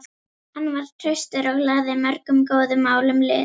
Hann var traustur og lagði mörgum góðum málum lið.